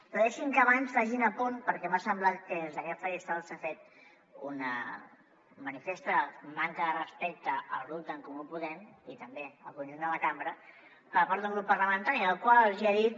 però deixi’m que abans faci un apunt perquè m’ha semblat que des d’aquest faristol s’ha fet una manifesta manca de respecte al grup d’en comú podem i també al conjunt de la cambra per part d’un grup parlamentari al qual els hi han dit